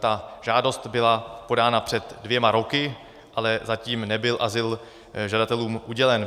Ta žádost byla podána před dvěma roky, ale zatím nebyl azyl žadatelům udělen.